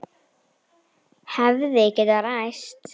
Hefði getað ræst.